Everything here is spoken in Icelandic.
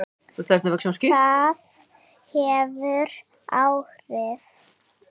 Það hefur áhrif.